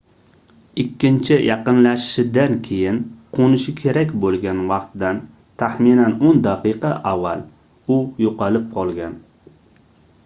ikkinchi yaqinlashishidan keyin qoʻnishi kerak boʻlgan vaqtdan taxminan oʻn daqiqa avval u yoʻqolib qolgan